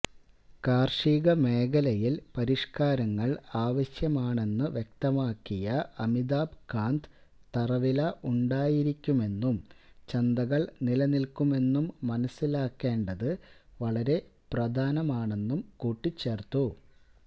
കാർഷിക മേഖലയിൽ പരിഷ്കാരങ്ങൾ ആവശ്യമാണെന്നു വ്യക്തമാക്കിയ അമിതാഭ് കാന്ത് തറവില ഉണ്ടായിരിക്കുമെന്നും ചന്തകൾ നിലനിൽക്കുമെന്നും മനസിലാക്കേണ്ടത് വളരെ പ്രധാനമാണെന്നും കൂട്ടിച്ചേർത്തു